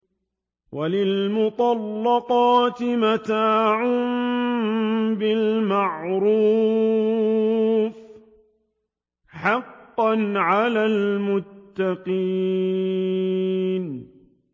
وَلِلْمُطَلَّقَاتِ مَتَاعٌ بِالْمَعْرُوفِ ۖ حَقًّا عَلَى الْمُتَّقِينَ